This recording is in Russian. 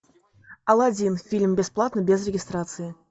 алладин фильм бесплатно без регистрации